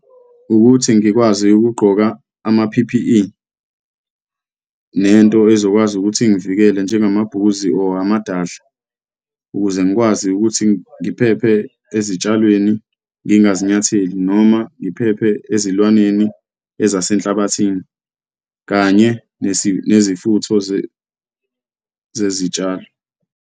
Ukuthi ngikwazi ukugqoka ama-P_P_E nento ezokwazi ukuthi ingivikele, njengamabhuzi or amadadla, ukuze ngikwazi ukuthi ngiphephe ezitshalweni, ngingazinyatheli, noma ngiphephe ezilwaneni ezasenhlabathini kanye nezifutho zezitshalo.